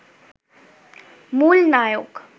মূল নায়ক